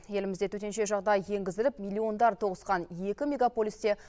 елімізде төтенше жағдай енгізіліп миллиондар тоғысқан екі мегаполисте